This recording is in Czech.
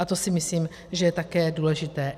A to si myslím, že je také důležité.